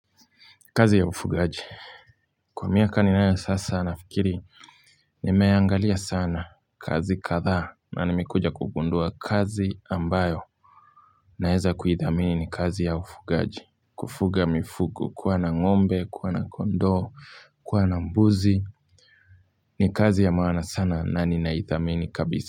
Kazi ya ufugaji. Kwa miaka ninayo sasa nafikiri nimeangalia sana kazi kadhaa na nimikuja kugundua kazi ambayo naeza kuithamini ni kazi ya ufugaji. Kufuga mifugo kuwa na ngombe, kuwa na kondoo, kuwa na mbuzi ni kazi ya maana sana na ninaithamini kabisa.